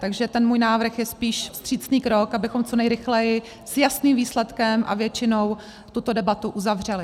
Takže ten můj návrh je spíš vstřícný krok, abychom co nejrychleji s jasným výsledkem a většinou tuto debatu uzavřeli.